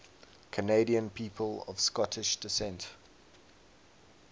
canadian people of scottish descent